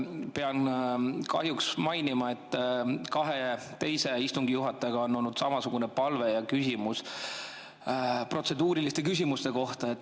Pean kahjuks mainima, et kahele teisele istungi juhatajale on olnud samasugune palve ja küsimus protseduuriliste küsimuste kohta.